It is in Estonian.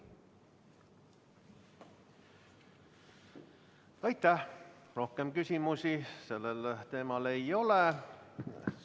Rohkem küsimusi sellel teemal ei ole.